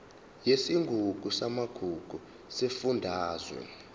yesigungu samagugu sesifundazwe